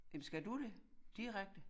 Jamen skal du det direkte